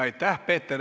Aitäh!